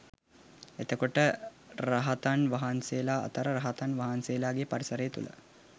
එතකොට රහතන් වහන්සේලා අතර රහතන් වහන්සේලාගේ පරිසරය තුළ